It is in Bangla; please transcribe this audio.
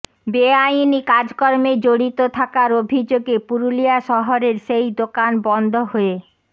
বেআইনি কাজকর্মে জড়িত থাকার অভিযোগে পুরুলিয়া শহরের সেই দোকান বন্ধ হয়ে